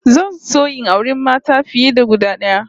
Zan so in auri mata fiye da guda d'aya